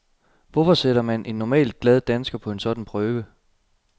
Hvorfor sætter man en normalt glad dansker på sådan en prøve?